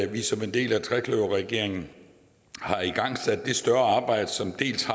vi som en del af trekløverregeringen har igangsat et større arbejde som